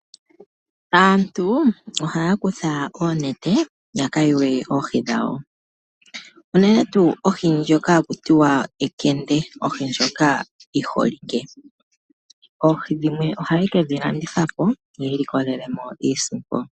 Aantu ohaya kutha oonete yaka yuge oohi dhawo, unene tuu ohi ndjoka haku tiwa ekende ohi ndjoka yiholike. Oohi dhimwe ohaye kedhilanditha po yi ilikolele iisimpo.